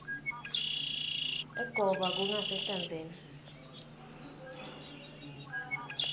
egoba kangasehlandzeni